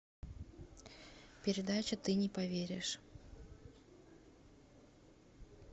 передача ты не поверишь